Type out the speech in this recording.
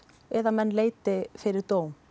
eða menn leiti fyrir dóm